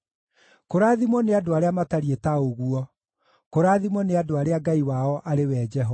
Kũrathimwo nĩ andũ arĩa matariĩ ta ũguo; kũrathimwo nĩ andũ arĩa Ngai wao arĩ we Jehova.